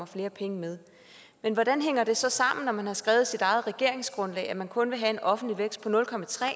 flere penge med men hvordan hænger det så sammen når man har skrevet i sit eget regeringsgrundlag at man kun vil have en offentlig vækst på nul